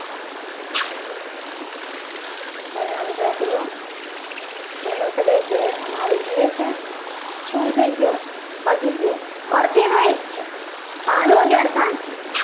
વર્ણાનુપ્રાસ રહ્ય વર્ણ શબ્દ જે આમાં જીવે છે. શું થઈ ગયો ભાગી ગયો અર્થ એનો એ જ છે. આનો જ અર્થ આ છે.